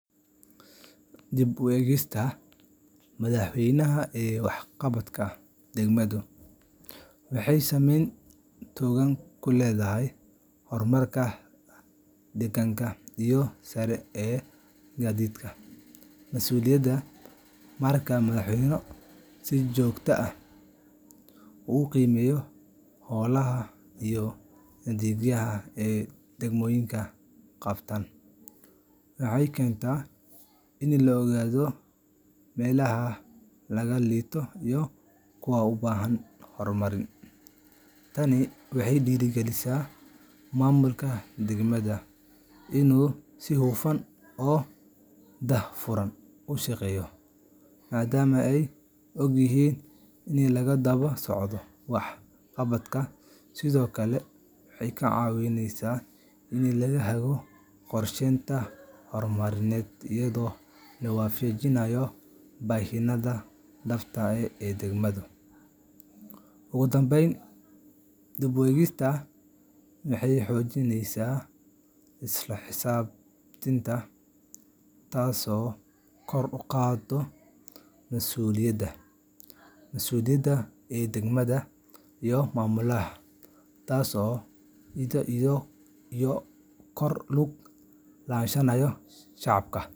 Dib u eegista madaxweynaha ee waxqabadka degmadu waxay saameyn togan ku leedahay horumarka deegaanka iyo sare u qaadidda mas’uuliyadda. Marka madaxweynuhu si joogto ah u qiimeeyo hawlaha iyo adeegyada ay degmooyinka qabtaan, waxay keentaa in la ogaado meelaha laga liito iyo kuwa u baahan horumarin. Tani waxay dhiirrigelisaa maamulka degmada inuu si hufan oo daahfuran u shaqeeyo, maadaama ay ogyihiin in la daba socdo waxqabadkooda. Sidoo kale, waxay ka caawisaa in la hago qorsheyaasha horumarineed iyadoo la waafajinayo baahiyaha dhabta ah ee deegaanka. Ugu dambayn, dib u eegistu waxay xoojinaysaa isla xisaabtanka, taasoo kor u qaadda mas’uuliyadda maamulayaasha iyo ku lug lahaanshaha shacabka.